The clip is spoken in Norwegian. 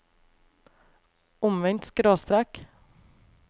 omvendt skråstrek